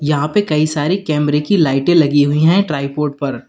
यहां पे कई सारे कैमरे की लाइटें लगी हुई है ट्राइपॉड पर।